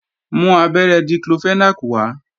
Mú abẹ́rẹ́ Diclofenac wá!